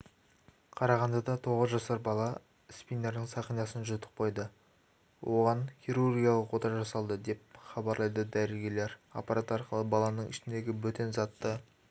қарағандыда тоғыз жасар бала спиннердің сақинасын жұтып қойды оған хирургиялық ота жасалды деп хабарлайды дәрігерлер аппарат арқылы баланың ішіндегі бөтен затты